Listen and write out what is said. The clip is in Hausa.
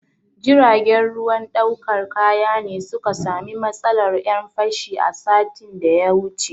Jiragen ruwan ɗaukar kaya ne su ka sami matsalar 'yan fashi a satin da ya wuce.